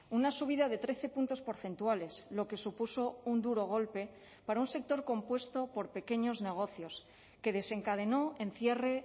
una subida de trece puntos porcentuales lo que supuso un duro golpe para un sector compuesto por pequeños negocios que desencadenó en cierre